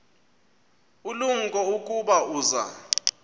ulumko ukuba uza